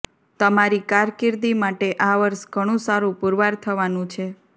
તમારી કારકિર્દી માટે આ વર્ષ ઘણુ સારુ પુરવાર થવાનું છે